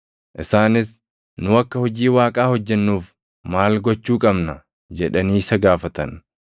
Isaanis, “Nu akka hojii Waaqaa hojjennuuf maal gochuu qabna?” jedhanii isa gaafatan.